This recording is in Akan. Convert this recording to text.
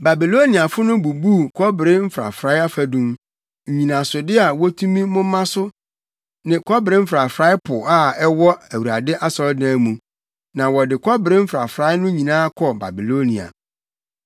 Babiloniafo no bubuu kɔbere mfrafrae afadum, nnyinasode a wotumi moma so ne kɔbere mfrafrae Po a na ɛwɔ Awurade asɔredan mu, na wɔde kɔbere mfrafrae no nyinaa kɔɔ Babilonia.